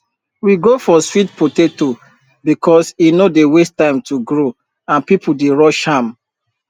we go for sweet potato because e no dey waste time to grow and people dey rush am